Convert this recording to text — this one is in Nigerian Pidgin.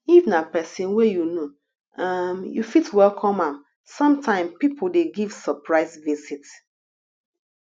if na person wey you know um you fit welcome am sometime pipo dey give surprise visit